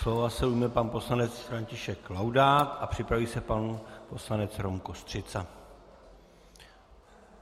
Slova se ujme pan poslanec František Laudát a připraví se pan poslanec Rom Kostřica.